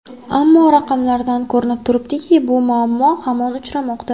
Ammo raqamlardan ko‘rinib turibdiki, bu muammo hamon uchramoqda.